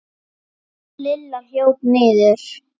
Lilla hljóp niður.